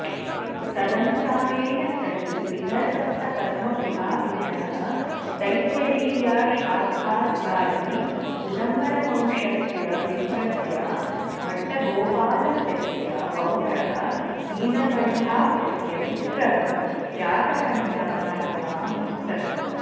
तदनुसारेण स हि विदर्भस्थपद्मपुराभिजनः तैत्तिरीयशाखाध्यायी उदुम्बरवंश्यस्य विप्रस्य भट्टगोपालख्यस्य पौत्रः नीलकण्ठाख्यस्य पुत्रः जातकण्यख्यायां जातः